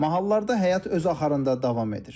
Mahallarda həyat öz axarında davam edir.